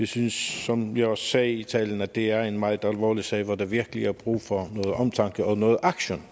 synes som jeg også sagde i min tale at det er en meget alvorlig sag hvor der virkelig er brug for noget omtanke og noget action